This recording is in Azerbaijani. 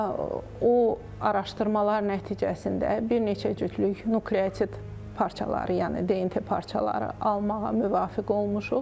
O araşdırmalar nəticəsində bir neçə cütlük nukleotit parçaları, yəni DNT parçaları almağa müvəffəq olmuşuq.